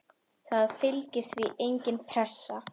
Það fylgir því engin pressa.